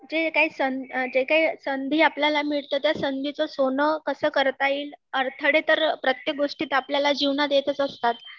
कि जे काही जे काही संधी आपल्याला मिळते त्या संधीच सोनं कसं करता येईल, अडथळे तर प्रत्येक गोष्टीत आपल्याला जिवनात येतच असतात